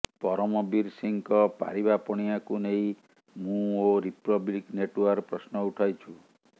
ପରମବୀର ସିଂହଙ୍କ ପାରିବା ପଣିଆକୁ ନେଇ ମୁଁ ଓ ରିପବ୍ଲିକ ନେଟଓ୍ୱର୍କ ପ୍ରଶ୍ନ ଉଠାଉଛୁ